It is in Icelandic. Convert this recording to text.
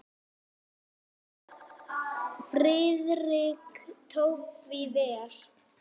Friðrik tók því vel.